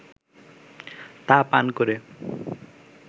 তা পান করে